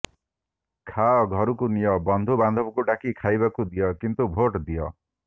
ଖାଅ ଘରକୁ ନିଅ ବନ୍ଧୁ ବାନ୍ଧବଙ୍କୁ ଡାକି ଖାଇବାକୁ ଦିଅ କିନ୍ତୁ ଭୋଟ ଦିଅ